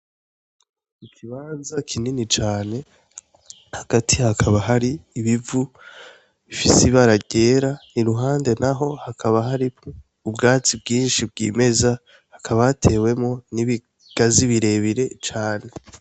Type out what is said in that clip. Ikibanza kinini cane, hagati hakaba hari ibivu bifise ibara ryera, iruhande naho hakaba hari ubwatsi bwinshi bwimeza, hakaba hatewemwo n'ibigazi birebire cane.